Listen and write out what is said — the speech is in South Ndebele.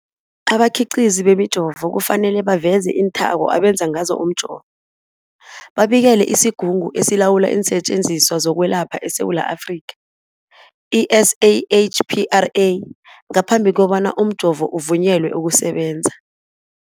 Abakhiqizi bemijovo kufanele baveze iinthako abenze ngazo umjovo, babikele isiGungu esiLawula iinSetjenziswa zokweLapha eSewula Afrika, i-SAHPRA, ngaphambi kobana umjovo uvunyelwe ukusebenza.